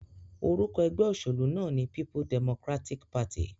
Orúkọ egbé òsèlú náà ní People Democratic Party